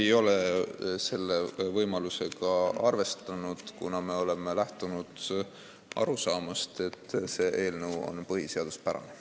Me ei ole selle võimalusega arvestanud, kuna me oleme lähtunud arusaamast, et see eelnõu on põhiseaduspärane.